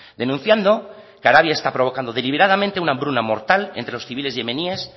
denunciando que arabia está provocando deliberadamente una hambruna mortal entre los civiles yemeníes